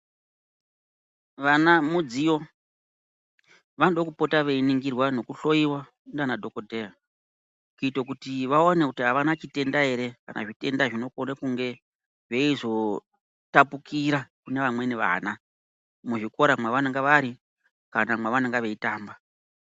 Vana mudziyo. Vanoda kupota veiningirwa nekuhlowiwa ndiana dhokoteya kuita kuti vaone kuti avana chitenda ere kana zvitenda zvinokona kunge zveizotapukira kune vamweni vana muzvikora mwavanenge vari kana mwavanenge veitamba.